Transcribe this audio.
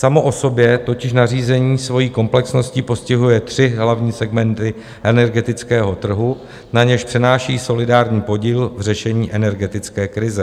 Samo o sobě totiž nařízení svojí komplexností postihuje tři hlavní segmenty energetického trhu, na něž přenáší solidární podíl v řešení energetické krize.